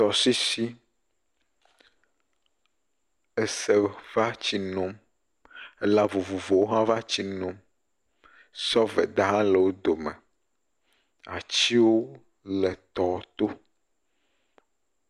Tɔsisi, ese va tsi num elã vovovowo hã va tsi nom, sɔveda hã le wo dome, atiwo le tɔ to.